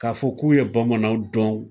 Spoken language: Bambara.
Ka fɔ k'u ye bamananw dɔn.